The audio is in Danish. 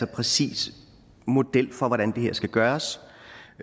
præcis model for hvordan det her skal gøres